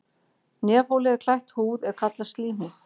Nefholið er klætt húð er kallast slímhúð.